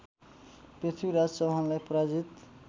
पृथ्वीराज चौहानलाई पराजित